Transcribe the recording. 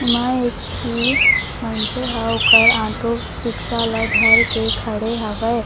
मैं एक थी मनसे ह ओकर ऑटो रिक्शा ला धर के खड़े हवै।